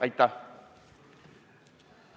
Aitäh!